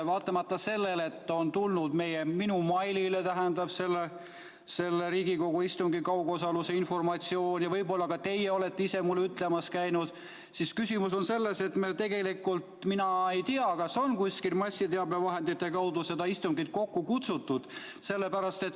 Vaatamata sellele, et minu meilile on tulnud informatsioon Riigikogu kaugosalusega istungi toimumise kohta ja võib-olla ka teie olete ise mulle ütlemas käinud, tegelikult mina ei tea, kas on kuskil massiteabevahendite kaudu seda istungit kokku kutsutud.